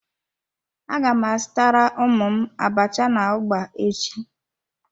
A gam azutara ụmụ m abacha na ugba echi.